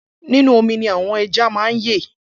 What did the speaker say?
Inú ọmi ni àwọn eja ma yẹ